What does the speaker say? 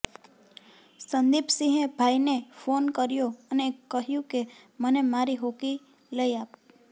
સંદીપ સિંહે ભાઈને ફોન કર્યો અને કહ્યું કે મને મારી હોકી લઈ આપ